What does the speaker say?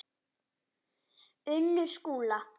Unnur Skúla.